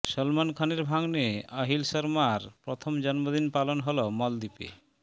সলমন খানের ভাগ্নে আহিল শর্মার প্রথম জন্মদিন পালন হল মলদ্বীপে